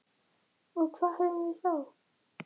Og hvað höfum við þá?